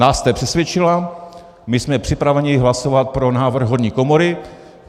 Nás jste přesvědčila, my jsme připraveni hlasovat pro návrh horní komory.